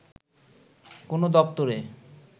কোনো দপ্তরে